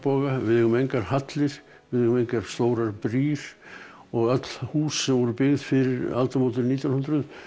við eigum engar hallir við eigum engar stórar brýr og öll hús sem voru byggð fyrir aldamótin nítján hundruð